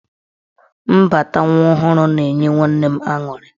Mbata nwa ọhụrụ na-enye nwanne m aṅụrị.